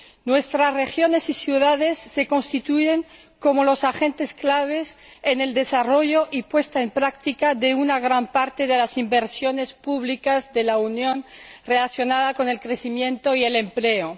Nuestras regiones y ciudades se constituyen como los agentes clave en el desarrollo y puesta en práctica de una gran parte de las inversiones públicas de la Unión relacionadas con el crecimiento y el empleo.